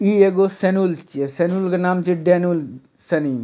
इ एगो सेनुल छिये सेनुल के नाम छिये डेनुल सनी --